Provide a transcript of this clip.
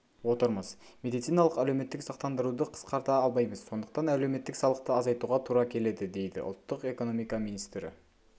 отырмыз медициналық әлеуметтік сақтандыруды қысқарта алмаймыз сондықтан әлеуметтік салықты азайтуға тура келеді дейдіұлттық экономика министрі